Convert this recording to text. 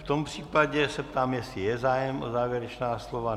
V tom případě se ptám, jestli je zájem o závěrečná slova.